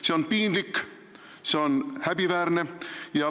See on piinlik, see on häbiväärne.